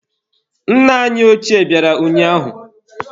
Nna anyị ochie bịara ụnyaahụ.